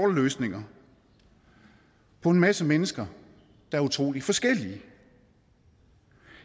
løsninger for en masse mennesker der er utrolig forskellige